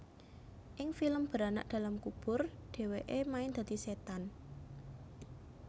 Ing film Beranak dalam Kubur dheweke main dadi setan